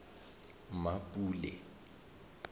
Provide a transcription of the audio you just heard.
mmapule